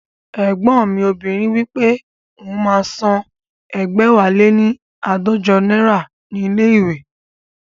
Ẹ̀gbọ́n mi obìnrin wípé òun máa ń san ẹgbẹ̀wáléní aadọjọ náírà ní ilé ìwé